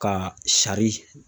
Ka